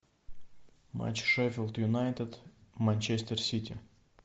матч шеффилд юнайтед манчестер сити